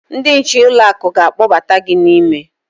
Ndị nche ụlọ akụ ga-akpọbata gị n'ime.